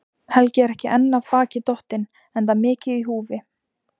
Helgi er ekki enn af baki dottinn, enda mikið í húfi.